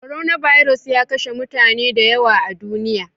Coronavirus ya kashe mutane da yawa a duniya.